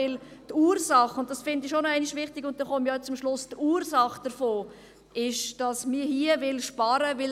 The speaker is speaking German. Die Ursache davon ist nämlich – und das ist wichtig –, dass man hier sparen will.